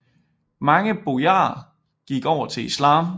Mange bojarer gik over til islam